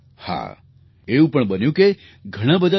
હા એવું પણ બન્યું કે ઘણા બધા લોકોએ ડૉ